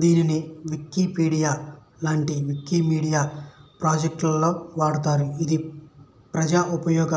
దీనిని వికీపీడియా లాంటి వికీమీడియా ప్రాజెక్టులలో వాడతారు ఇది ప్రజోపయోగ